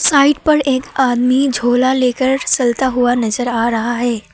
Site पर एक आदमी झोला लेकर चलता हुआ नजर आ रहा है।